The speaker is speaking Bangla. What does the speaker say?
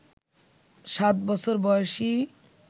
সাত বছর বয়সি